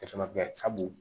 sabu